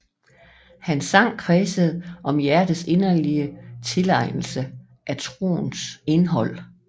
Hans sang kredsede om hjertets inderlige tilegnelse af troens indhold